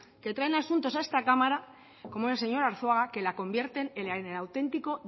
que traen asuntos a esta cámara como el señor arzuaga que la convierten en el auténtico